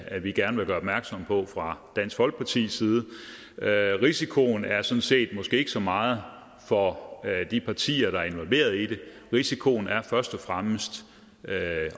at vi gerne vil gøre opmærksom på fra dansk folkepartis side risikoen er sådan set måske ikke så meget for de partier der er involveret i det risikoen er først og fremmest